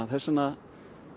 þess vegna